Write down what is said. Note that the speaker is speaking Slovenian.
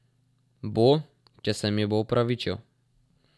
Bo, če se mi bo opravičil.